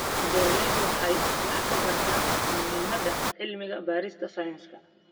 Beeraleydu waxay wax ka bartaan muhiimadda cilmi-baarista sayniska.